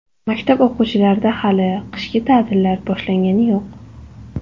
Maktab o‘quvchilarida hali qishki ta’tillar boshlangani yo‘q.